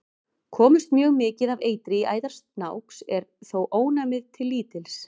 Komist mjög mikið af eitri í æðar snáks er þó ónæmið til lítils.